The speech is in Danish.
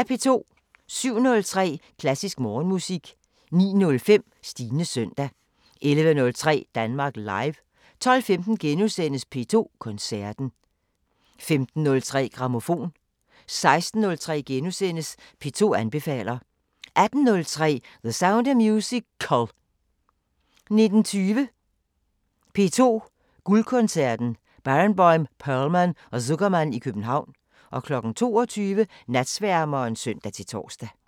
07:03: Klassisk Morgenmusik 09:05: Stines søndag 11:03: Danmark Live 12:15: P2 Koncerten * 15:03: Grammofon 16:03: P2 anbefaler * 18:03: The Sound of Musical 19:20: P2 Guldkoncerten: Barenboim, Perlman og Zukerman i København 22:00: Natsværmeren (søn-tor)